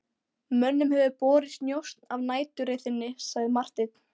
Mönnum hefur borist njósn af næturreið þinni, sagði Marteinn.